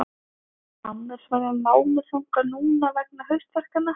Annars var ég lánuð þangað núna vegna haustverkanna.